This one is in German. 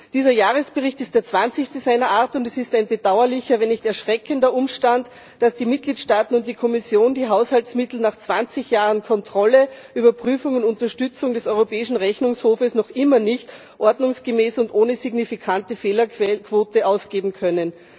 Dieser Jahresbericht ist der zwanzigste seiner Art, und es ist ein bedauerlicher, wenn nicht erschreckender Umstand, dass die Mitgliedstaaten und die Kommission die Haushaltsmittel nach zwanzig Jahren Kontrolle, Überprüfung und Unterstützung des Europäischen Rechnungshofes noch immer nicht ordnungsgemäß und ohne signifikante Fehlerquote ausgeben können.